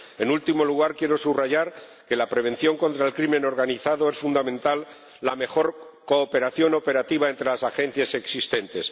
En último lugar, quiero subrayar que la prevención contra el crimen organizado es fundamental, la mejor cooperación operativa entre las agencias existentes.